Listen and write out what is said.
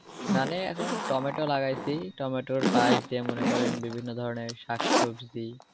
মানে এখন টমেটো লাগাইছি টমেটোর পাশ দিয়া মনে করেন যেমন বিভিন্ন ধরনের শাকসবজি